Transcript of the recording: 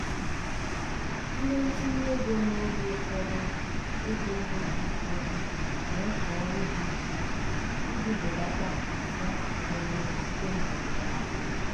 ndị ntinye ego n'oge ụfọdụ ego n'oge ụfọdụ n'eke ọrụ dị iche iche iji belata mfu ga-eme site n'ọdịda ahịa.